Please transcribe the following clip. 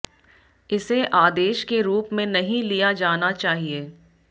इसे आदेश के रूप में नहीं लिया जाना चाहिए